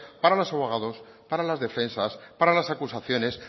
para las abogados para las defensas para las acusaciones